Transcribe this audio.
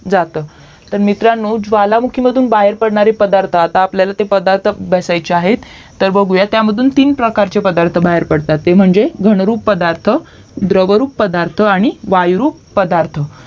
जातं तर मित्रांनो ज्वालामुखीतून बाहेर पडणारे पदार्थ आता आपल्याला ते पदार्थ अभ्यासाचे आहेत तर बघूयात त्यातून तीन प्रकारचे पदार्थ बाहेर पडतात ते म्हणजे घनरूप पदार्थ द्रवरूप पदार्थ वायुरूप पदार्थ